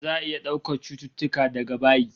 Za'a iya daukar cututtuka daga bayi